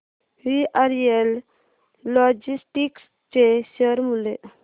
VRL logistics चे share मूल्य